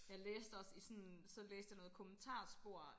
Jeg læste også sådan så læste jeg noget kommentarspor